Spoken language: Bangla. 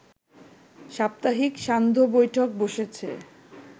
সাপ্তাহিক সান্ধ্য বৈঠক বসেছে